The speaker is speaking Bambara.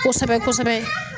Kosɛbɛ kosɛbɛ